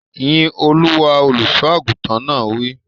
Yín Olúwa! Olùsọ àgùntàn náà wí.